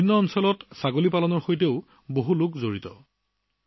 দেশৰ বিভিন্ন প্ৰান্তৰ বহু লোক ছাগলী পালনৰ লগত জড়িত